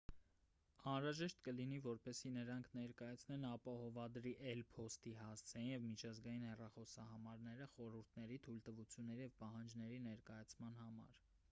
անհրաժեշտ կլինի որպեսզի նրանք ներկայացնեն ապահովադրի էլ.փոստի հասցեն և միջազգային հեռախոսահամարները խորհուրդների/թույլտվությունների և պահանջների ներկայացման համար: